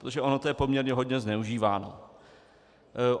Protože ono to je poměrně hodně zneužíváno.